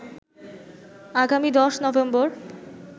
আগামী ১০ নভেম্বর